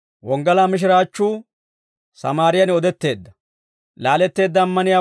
Laaletteedda ammaniyaawanttu k'aalaa odiidde, ubbasaa beeddino.